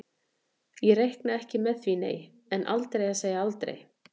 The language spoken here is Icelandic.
Ég reikna ekki með því nei, en aldrei að segja aldrei.